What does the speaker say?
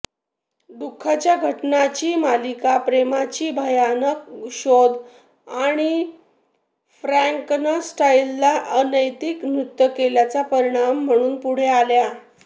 दुःखाच्या घटनांची मालिका प्रेमाची भयानक शोध आणि फ्रॅंकेनस्टाइनला अनैतिक कृत्य केल्याचा परिणाम म्हणून पुढे आल्या